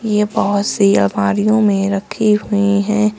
ये बहोत सी अलमारियों में रखी हुई है।